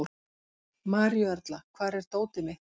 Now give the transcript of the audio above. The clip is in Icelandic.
Maríuerla, hvar er dótið mitt?